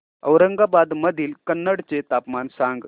औरंगाबाद मधील कन्नड चे तापमान सांग